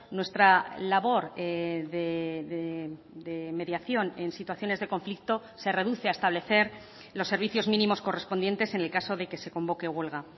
nuestra labor de mediación en situaciones de conflicto se reduce a establecer los servicios mínimos correspondientes en el caso de que se convoque huelga